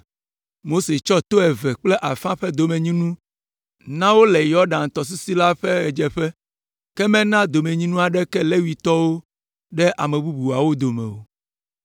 Mose tsɔ to eve kple afã ƒe domenyinu na wo le Yɔdan tɔsisi la ƒe ɣedzeƒe, ke mena domenyinu aɖeke Levitɔwo ɖe ame bubuawo dome o,